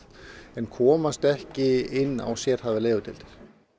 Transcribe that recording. en komast ekki inn á sérhæfðar legudeildir